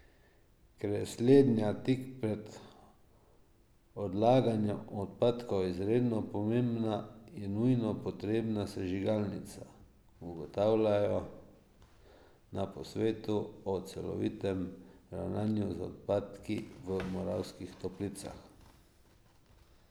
Ker je slednja tik pred odlaganjem odpadkov izredno pomembna, je nujno potrebna sežigalnica, ugotavljajo na posvetu o celovitem ravnanju z odpadki v Moravskih Toplicah.